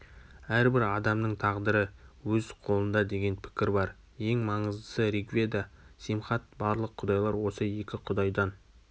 әрбір адамның тағдыры өз қолындадеген пікір бар ең маныздысы ригведа симхат барлық құдайлар осы екі құдайдан